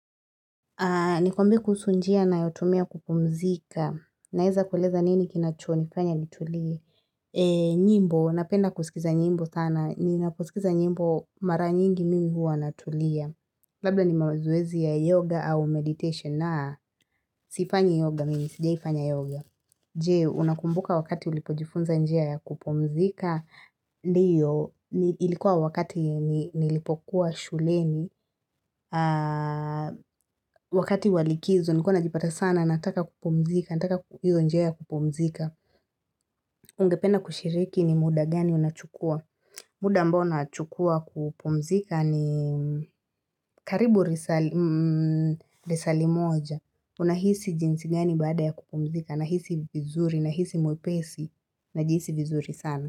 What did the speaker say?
Ni kuambie kuhusu njia nayotumia kupumzika. Naeza kuleza nini kinacho nifanya nitulie. Nyimbo, napenda kusikiza nyimbo sana. Ninaposikiza nyimbo mara nyingi mimi hua natulia. Labda ni mazoezi ya yoga au meditation na sifanyi yoga, mimi sigeifanya yoga. Je, unakumbuka wakati ulipojifunza njua ya kupumzika, ndio, ilikuwa wakati nilipokuwa shuleni, wakati wa likizo, nikuwa najipata sana, nataka kupumzika, nataka njia ya kupomzika. Ungepena kushiriki ni muda gani unachukua, muda ambao unachukua kupumzika ni karibu risali moja, unahisi jinsi gani baada ya kupumzika, nahisi vizuri, nahisi mwepesi, najihisi vizuri sana.